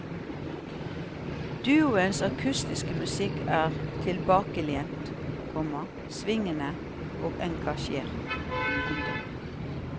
Duoens akustiske musikk er tilbakelent, komma svingende og engasjert. punktum